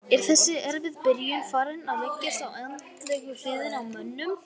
Er þessi erfiða byrjun farin að leggjast á andlegu hliðina á mönnum?